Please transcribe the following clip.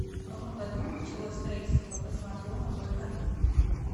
в каком году началось строительство космодрома байконур